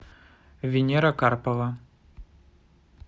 венера карпова